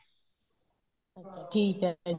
ਠੀਕ ਏ ਫੇਰ